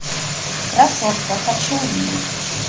красотка хочу увидеть